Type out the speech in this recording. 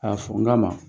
A y'a fɔ n ka ma